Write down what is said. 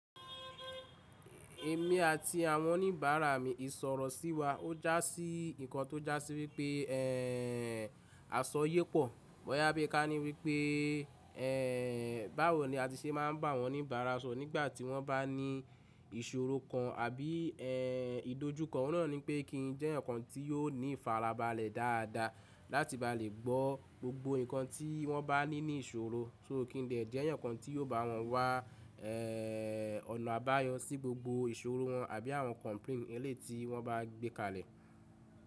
Èmi àti àwọn oníbàárà mi ìsọ̀rọ̀ sí wa ó já sí nǹkan tó já sí wípé, ẹ́ ẹ́ ẹ́ àsọ ye pọ̀. Boyá bí ká ní wípé, ẹ́ ẹ́ ẹ́ báwo ni a ti ṣe máa ń bá àwọn oníbàárà sọ̀rọ̀ nígbà tí wọ́n bá ní ìsọ̀rọ̀ kan àbí ẹ́ ẹ́ ẹ́ ìdójú kan. Òun náà ní pé kí n jẹ́ ǹkan tí yóò ní ìfarabalẹ̀ dáadáa láti bá lè gbọ́ gbogbo nǹkan tí wọ́n bá ní ní ìsọ̀rọ̀, só kí n dè jẹ́ yan kan tí yóò bá wọn wá ẹ́ ẹ́ ẹ́ ọ̀nà àbáyọ sí gbogbo ìsọ̀rọ̀ wọn àbí àwọn complain ẹlẹ́tì wọ́n bá gbé kalẹ̀